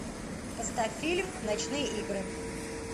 поставь фильм ночные игры